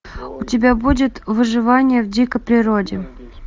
у тебя будет выживание в дикой природе